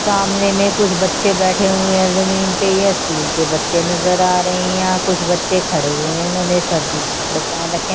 सामने मे कुछ बच्चे बैठे हुए है जमीन पे ये स्कूल के बच्चे नजर आ रहे है यहाँ कुछ बच्चे खड़े हुए है इन्होंने सर्दी के कपड़े पहन रखे है ।